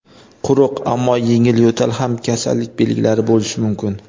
quruq ammo yengil yo‘tal ham kasallik belgilari bo‘lishi mumkin.